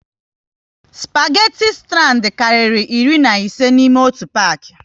Spageti strand karịrị iri na ise n'ime otu paki